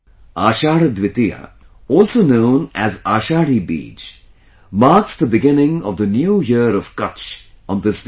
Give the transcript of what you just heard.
Ashadha Dwitiya, also known as Ashadhi Bij, marks the beginning of the new year of Kutch on this day